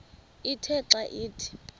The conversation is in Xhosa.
ithe xa ithi